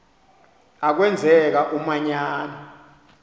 a kwenzeka umanyano